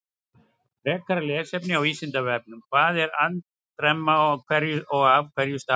Frekara lesefni á Vísindavefnum: Hvað er andremma og af hverju stafar hún?